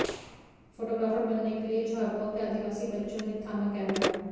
photographer बनने के लिए झाबुआ के आदिवासी बच्चों ने थामा कैमरा